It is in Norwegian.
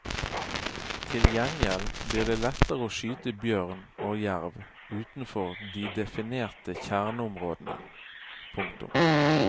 Til gjengjeld blir det lettere å skyte bjørn og jerv utenfor de definerte kjerneområdene. punktum